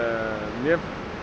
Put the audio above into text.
mér